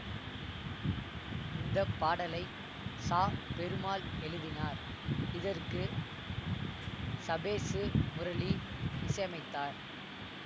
இந்த பாடலை சா பெருமாள் எழுதினார் இதற்கு சபேசு முரளி இசையமைத்தார்